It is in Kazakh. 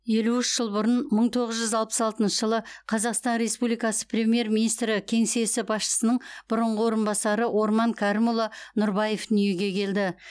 елу үш жыл бұрын мың тоғыз жүз алпыс алтыншы қазақстан республикасы премьер министр кеңсесі басшысының бұрынғы орынбасары орман кәрімұлы нұрбаев дүниеге келді